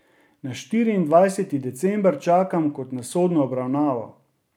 Na štiriindvajseti december čakam kot na sodno obravnavo.